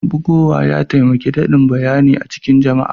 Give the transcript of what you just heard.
Bugowa ya taimake damin bayyani cikin jama'a.